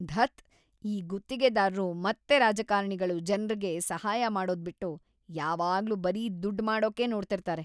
ಧತ್..‌ ಈ ಗುತ್ತಿಗೆದಾರ್ರು ಮತ್ತೆ ರಾಜಕಾರಣಿಗಳು ಜನ್ರಿಗೆ ಸಹಾಯ ಮಾಡೋದ್ಬಿಟ್ಟು ಯಾವಾಗ್ಲೂ ಬರೀ ದುಡ್ಡ್ ಮಾಡೋಕೇ ನೋಡ್ತಿರ್ತಾರೆ.